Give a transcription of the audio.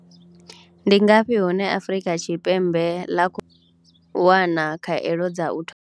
Ndi ngafhi hune Afrika Tshipembe ḽa khou wana hone khaelo.